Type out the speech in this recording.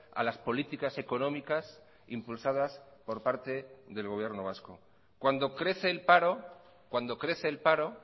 a las políticas económicas impulsadas por parte del gobierno vasco cuando crece el paro cuando crece el paro